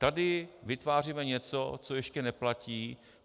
Tady vytváříme něco, co ještě neplatí.